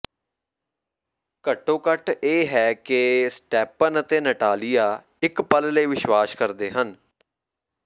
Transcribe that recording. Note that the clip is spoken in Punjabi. ਘੱਟੋ ਘੱਟ ਇਹ ਹੈ ਕਿ ਸਟੈਪਨ ਅਤੇ ਨਟਾਲੀਆ ਇੱਕ ਪਲ ਲਈ ਵਿਸ਼ਵਾਸ ਕਰਦੇ ਹਨ